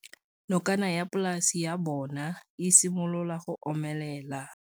Nokana ya polase ya bona, e simolola go omelela.